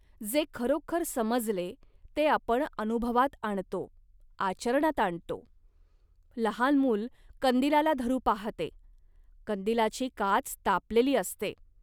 जे खरोखर समजले, ते आपण अनुभवात आणतो, आचरणात आणतो. लहान मूल कंदिलाला धरू पाहते, कंदिलाची काच तापलेली असते